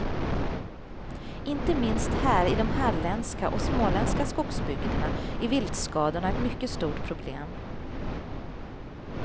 Inte minst här i de halländska och småländska skogsbygderna är viltskadorna ett mycket stort problem.